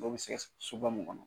Dɔw bɛ sɛgɛ soba mun kɔnɔ.